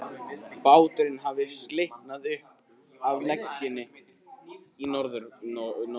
Báturinn hafði slitnað upp af legunni í norðanroki.